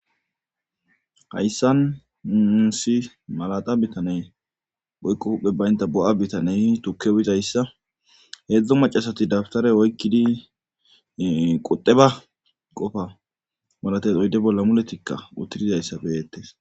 hayssan nusi malaxa bitane boykqo hupphe baynta bo7a bitaney tukke uyizayssa heedzdzo macasati dabtare woykkidi qudeba qofa malates oyde bolla muletikka uttidizayssa beyettes